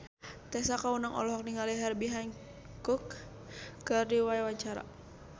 Tessa Kaunang olohok ningali Herbie Hancock keur diwawancara